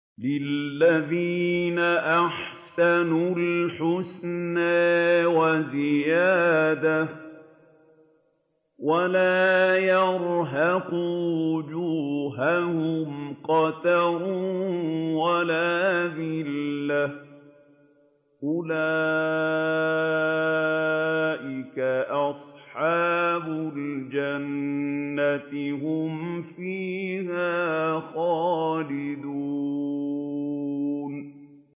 ۞ لِّلَّذِينَ أَحْسَنُوا الْحُسْنَىٰ وَزِيَادَةٌ ۖ وَلَا يَرْهَقُ وُجُوهَهُمْ قَتَرٌ وَلَا ذِلَّةٌ ۚ أُولَٰئِكَ أَصْحَابُ الْجَنَّةِ ۖ هُمْ فِيهَا خَالِدُونَ